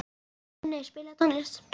Minney, spilaðu tónlist.